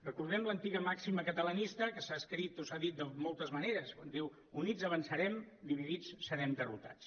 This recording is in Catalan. recordem l’antiga màxima catalanista que s’ha escrit o s’ha dit de moltes maneres quan diu units avançarem dividits serem derrotats